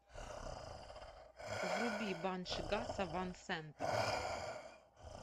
вруби банши гаса ван сента